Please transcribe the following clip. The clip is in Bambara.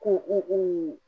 Ko u